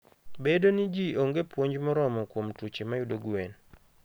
Bedo ni ji onge puonj moromo kuom tuoche mayudo gwen.